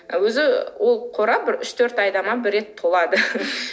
өзі ол қорап бір үш төрт айда ма бір рет толады